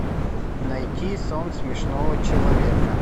найти сон смешного человека